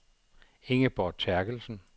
Ingeborg Terkelsen